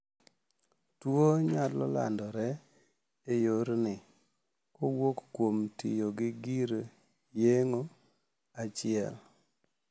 Tuo nyalo landre e yorni kowuok kuom tiyo gi gir yeng`o achiel.